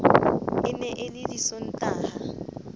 e ne e le disontaha